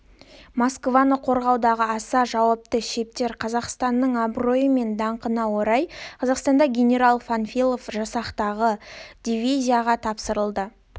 москваны қорғаудағы аса жауапты шептер қазақстанның абыройы мен даңқына орай қазақстанда генерал панфилов жасақтаған дивизияға тапсырылды